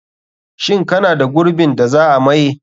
Shin kana da gurbin da za a maye?